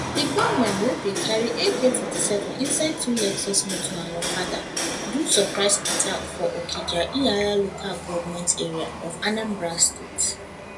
di gunmen wey bin carry ak47 inside two lexus motor and okada do surprise attack for okija ihiala local goment area of anambra state